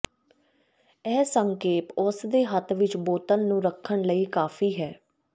ਇਹ ਸੰਖੇਪ ਉਸ ਦੇ ਹੱਥ ਵਿਚ ਬੋਤਲ ਨੂੰ ਰੱਖਣ ਲਈ ਕਾਫ਼ੀ ਹੈ